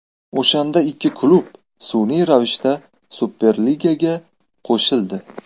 O‘shanda ikki klub sun’iy ravishda Superligaga qo‘shildi.